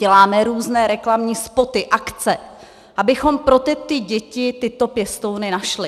Děláme různé reklamní spoty, akce, abychom pro tyto děti ty pěstouny našli.